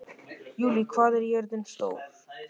Júlí, hvað er jörðin stór?